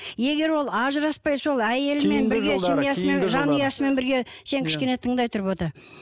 егер ол ажыраспай сол әйелімен жанұясымен бірге сен кішкене тыңдай тұр бота